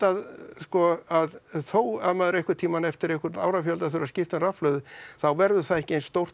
sko að þó maður einhvern tímann eftir einhvern árafjölda þurfi að skipta um rafhlöðu þá verður það ekki eins stórt